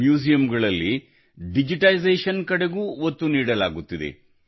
ಮ್ಯೂಸಿಯಂಗಳಲ್ಲಿ digitisation ಕಡೆಗೂ ಒತ್ತು ನೀಡಲಾಗುತ್ತಿದೆ